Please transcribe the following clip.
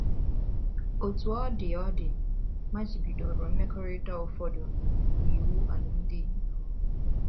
Otú ọ dị ọ dị, ọ machibidoro mmekọrịta ụfọdụ n’iwu alụmdi na nwunye.